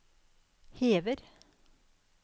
hever